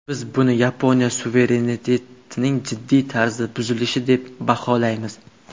Biz buni Yaponiya suverenitetining jiddiy tarzda buzilishi deb baholaymiz”.